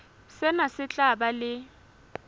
sena se tla ba le